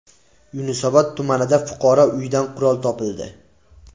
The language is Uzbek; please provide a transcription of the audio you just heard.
Yunusobod tumanida fuqaro uyidan qurol topildi.